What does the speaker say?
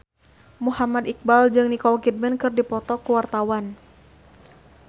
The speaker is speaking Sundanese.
Muhammad Iqbal jeung Nicole Kidman keur dipoto ku wartawan